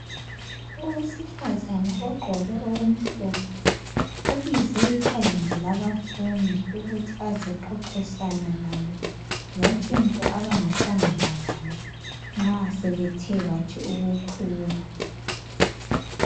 Owesifazane ogqoke okumhlophe ubize iqembu labafundi ukuthi azexoxisana lalo ngotshintsho abangahlangana lalo nxa sebethe bathi ukukhula.